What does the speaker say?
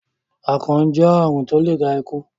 akàn jẹ àrùn tí o lẹ dá ikù.